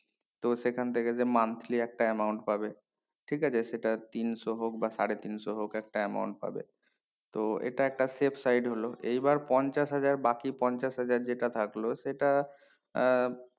তো সেখান থেকে যে monthly একটা amount পাবে ঠিক আছে সেটা তিনশো হোক বা সাড়ে তিনশো হোক একটা amount পাবে তো এটা একটা save site হলো এই বার পঞ্চাশ হাজার বাকি পঞ্চাশ হাজার যেটা থাকলো সেটা আহ